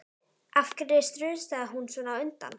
Af hverju strunsaði hún svona á undan?